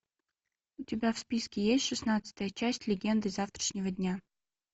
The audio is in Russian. у тебя в списке есть шестнадцатая часть легенды завтрашнего дня